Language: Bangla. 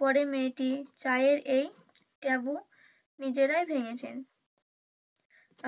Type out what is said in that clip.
পরে মেয়েটি চায়ের এই taboo নিজেরাই ভেঙ্গেছেন